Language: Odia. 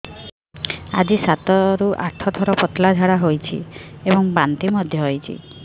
ଆଜି ସାତରୁ ଆଠ ଥର ପତଳା ଝାଡ଼ା ହୋଇଛି ଏବଂ ବାନ୍ତି ମଧ୍ୟ ହେଇଛି